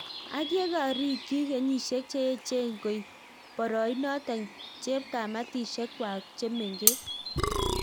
Ak yekarikyi kenyisiek cheechen koip poroionotok chepkamitisiek kwak chemengech